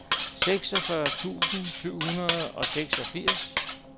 seksogfyrre tusind syv hundrede og seksogfirs